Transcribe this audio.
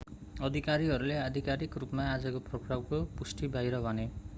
अधिकारीहरूले आधिकारिक रूपमा आजको पक्राउको पुष्टि बाहिर भने